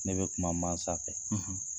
Ne bɛ kuma mansa fɛ,